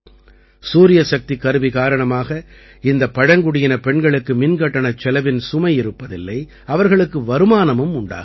சூரியசக்திக் கருவி காரணமாக இந்தப் பழங்குடியினப் பெண்களுக்கு மின்கட்டணச் செலவின் சுமை இருப்பதில்லை அவர்களுக்கு வருமானமும் உண்டாகிறது